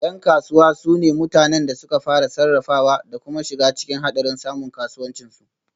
Yan kasuwa su ne mutanen da suka fara, sarrafawa da kuma shiga cikin hadarin samun kasuwancin su